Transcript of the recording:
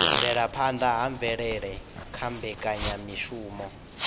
bvelaphanda ha mvelele kha mbekanyamishumo